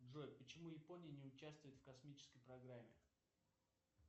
джой почему япония не учавствует в космической программе